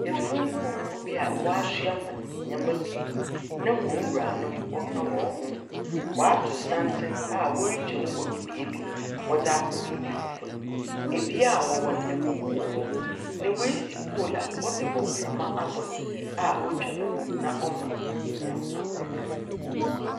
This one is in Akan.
Afun mpɔnkɔ bi a w'asoa wɔn nneama pii na wɔn wuranom ɔka wɔnho W'ato santen a wɔte twamu wɔ bea bi wɔde ak) baabi foforo ebia a wɔwɔ no ɛkoko wɔ hɔ na w'asi poolu a wɔde bɔ mframa abɔn a otwa ne ho na ɔmma anyinam ahoɔden.